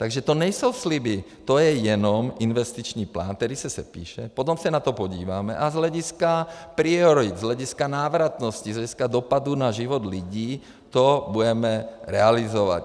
Takže to nejsou sliby, to je jenom investiční plán, který se sepíše, potom se na to podíváme a z hlediska priorit, z hlediska návratnosti, z hlediska dopadu na život lidí to budeme realizovat.